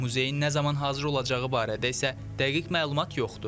Muzeyin nə zaman hazır olacağı barədə isə dəqiq məlumat yoxdur.